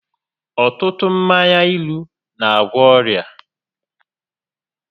Ọtụtụ mmanya ilu n'agwọ ọrịa